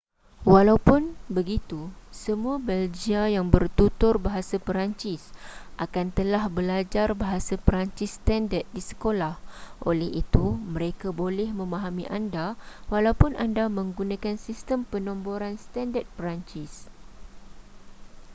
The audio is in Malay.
walaupun begitu semua belgia yang bertutur bahasa perancis akan telah belajar bahasa peransis standard di sekolah oleh itu mereka boleh memahami anda walaupun anda menggunakan sistem penomboran standard perancis